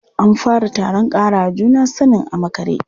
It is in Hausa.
An fara taron ƙarawa juna sanin a makare.